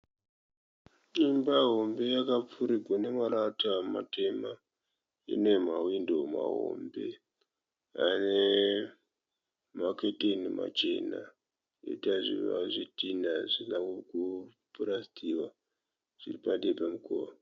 Imba hombe yakupfurirwa nemarata matema. Ine mahwindo mahombe ane maketeni machena poita zvidhina zvisina kupurasitiwa zviri padivi nemukova.